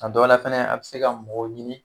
A dɔ la fɛnɛ a bɛ se ka mɔgɔ ɲini.